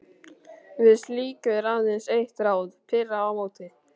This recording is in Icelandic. Við slíku er aðeins eitt ráð: pirra á móti.